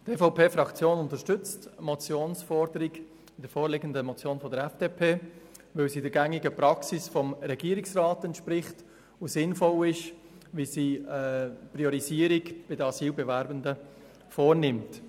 Die EVP-Fraktion unterstützt die Motionsforderung der FDP, da sie der gängigen Praxis des Regierungsrats entspricht und sinnvoll ist, weil sie eine Priorisierung innerhalb der Asylbewerbenden vornimmt.